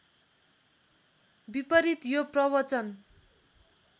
विपरीत यो प्रवचन